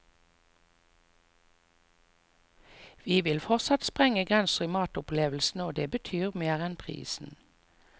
Vi vil fortsatt sprenge grenser i matopplevelsene, og det betyr mer enn prisen.